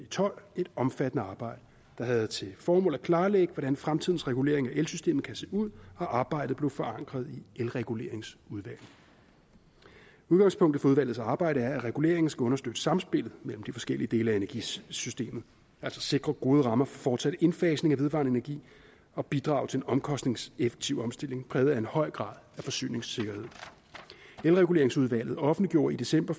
tolv et omfattende arbejde der havde til formål at klarlægge hvordan fremtidens regulering af elsystemet kan se ud og arbejdet blev forankret i elreguleringsudvalget udgangspunktet for udvalgets arbejde er at reguleringen skal understøtte samspillet mellem de forskellige dele af energisystemet altså sikre gode rammer for fortsat indfasning af vedvarende energi og bidrage til en omkostningseffektiv omstilling præget af en høj grad af forsyningssikkerhed elreguleringsudvalget offentliggjorde i december